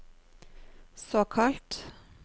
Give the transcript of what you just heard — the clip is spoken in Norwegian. såkalt